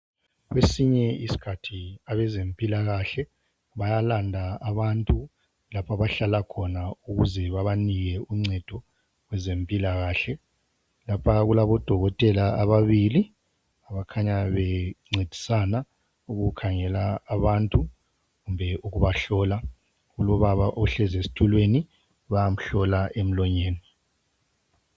Kwesinye isikhathi abezempilakahle bayalanda abantu lapho abahlala khona ukuze babanike uncedo kwezempilakahle. Lapha kulabodokotela ababili abakhanya bencedisana ukukhangela abantu kumbe ukubahlola kulobaba ohlezi esitulweni bayamhlola emlonyeni.